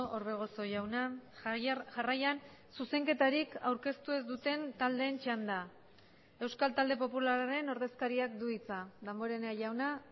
orbegozo jauna jarraian zuzenketarik aurkeztu ez duten taldeen txanda euskal talde popularraren ordezkariak du hitza damborenea jauna